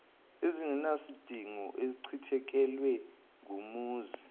ezingenasidingo achithekelwe ngumuzi